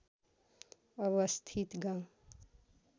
अवस्थित गाउँ